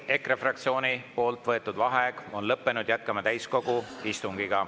EKRE fraktsiooni võetud vaheaeg on lõppenud, jätkame täiskogu istungit.